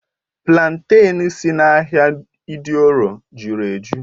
Platen si n'ahịa idioro jụrụ ejụ́